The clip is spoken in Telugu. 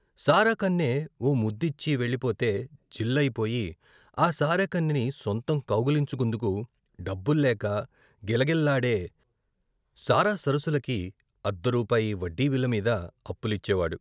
సారా కన్నె ఓ ముద్దిచ్చి వెళ్ళిపోతే జిల్ అయిపోయి, ఆ సారా కన్నెని సొంతం కౌగిలించుకుందుకు డబ్బుల్లేక గిలగిల్లాడే సారా సరసులకి అర్ధరూపాయి వడ్డీ విలమీద అప్పు లిచ్చేవాడు.